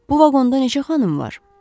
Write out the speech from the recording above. Bu vaqonda neçə xanım var?